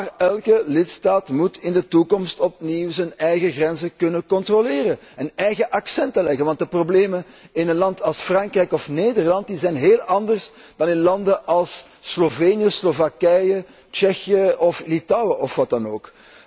Maar elke lidstaat moet in de toekomst opnieuw zijn eigen grenzen kunnen controleren en eigen accenten leggen, want de problemen in een land als Frankrijk of Nederland zijn heel anders dan in landen als Slovenië, Slovakije, Tsjechië of Litouwen of waar dan ook.